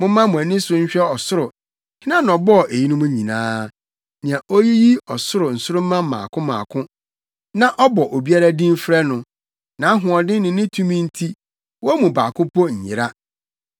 Momma mo ani so nhwɛ ɔsoro: Hena na ɔbɔɔ eyinom nyinaa? Nea oyiyi ɔsoro nsoromma mmaako mmaako, na ɔbɔ obiara din frɛ no. Nʼahoɔden ne ne tumi nti wɔn mu baako mpo nyera.